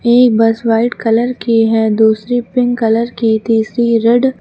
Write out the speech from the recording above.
एक bus white colour की है दूसरी पिंक कलर की तीसरी रेड --